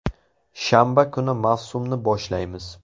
Shanba kuni mavsumni boshlaymiz.